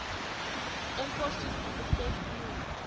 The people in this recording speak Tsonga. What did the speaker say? enkosini aku hlekiwi